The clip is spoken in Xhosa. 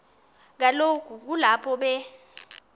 kaloku kulapho be